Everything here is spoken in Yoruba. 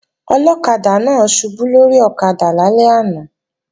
Ọlọ́kadà náà ṣubú lórí ọ̀kadà lálẹ́ àná